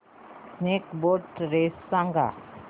snake boat race सांग